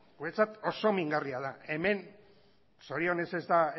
guretzat oso mingarria da hemen zorionez ez da